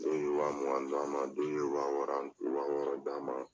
Dɔw ye wa mugan d'an ma, dɔw ye wa wɔɔrɔ wa wɔɔrɔ d'an ma